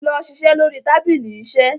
lọ ṣiṣẹ lórí tábìlì iṣe.